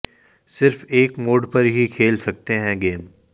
सिर्फ एक मोड पर ही खेल सकते हैं गेम